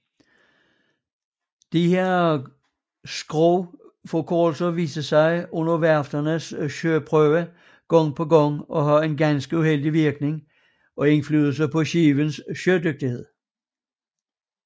Disse skrogforkortelser viste under værfternes søprøver gang på gang at have en ganske uheldig indflydelse på skibenes sødygtighed